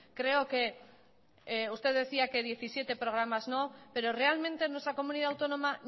creo que usted decía que diecisiete programas no pero realmente nuestra comunidad autónoma